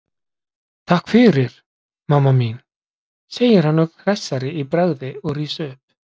Takk fyrir, mamma mín, segir hann ögn hressari í bragði og rís upp.